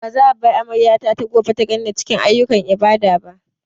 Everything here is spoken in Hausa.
Ba za a bar amaryata ta gobe ta ganni a cikin ayyukan ibada ba.